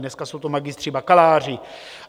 Dneska jsou to magistři, bakaláři.